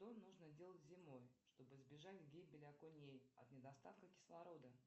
что нужно делать зимой чтобы избежать гибели окуней от недостатка кислорода